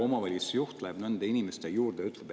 … omavalitsusjuht läheb nende inimeste juurde?